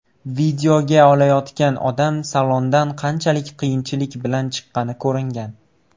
Videoga olayotgan odam salondan qanchalik qiyinchilik bilan chiqqani ko‘ringan.